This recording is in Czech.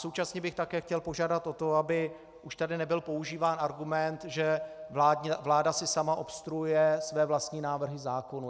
Současně bych také chtěl požádat o to, aby už tady nebyl používán argument, že vláda si sama obstruuje své vlastní návrhy zákonů.